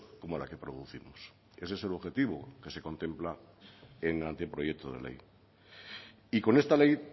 como la que producimos ese es el objetivo que se contempla en el anteproyecto de ley y con esta ley